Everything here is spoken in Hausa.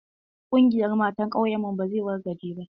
Ƙungiyan matan ƙauyen mu ba zai wargaje ba.